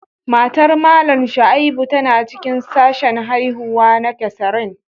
Matar Mallam Shaibu tana cikin sashen haihuwa na Cesarean